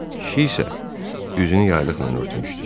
Kişi isə, üzünü yaylıqla örtmüşdü.